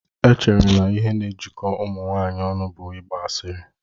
E chere na naanị ihe na-ejikọ ụmụ nwanyị ọnụ bụ ịgba asịrị